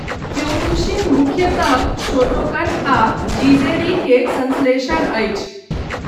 Kyokushin मुख्यतः Shotokan आ जीजे री के संश्लेषण अछि।